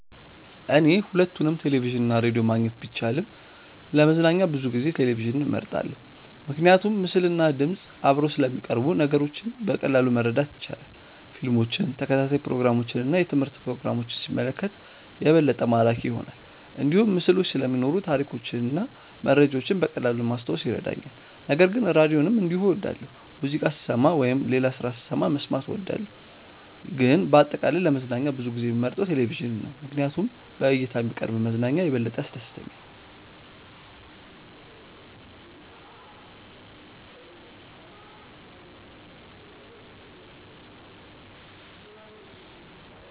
እኔ ሁለቱንም ቴሌቪዥን እና ራዲዮ ማግኘት ቢቻልም ለመዝናኛ ብዙ ጊዜ ቴሌቪዥንን እመርጣለሁ። ምክንያቱም ምስልና ድምፅ አብረው ስለሚቀርቡ ነገሮችን በቀላሉ ማረዳት ይቻላል። ፊልሞችን፣ ተከታታይ ፕሮግራሞችን እና የትምህርት ፕሮግራሞችን ሲመለከት የበለጠ ማራኪ ይሆናል። እንዲሁም ምስሎች ስለሚኖሩ ታሪኮችን እና መረጃዎችን በቀላሉ ማስታወስ ይረዳኛል። ነገር ግን ራዲዮንም እንዲሁ እወዳለሁ፣ ሙዚቃ ስሰማ ወይም ሌላ ስራ ስሰራ መስማት እወዳለሁ። ግን በአጠቃላይ ለመዝናኛ ብዙ ጊዜ የምመርጠው ቴሌቪዥን ነው ምክንያቱም በእይታ የሚቀርብ መዝናኛ የበለጠ ያስደስተኛል።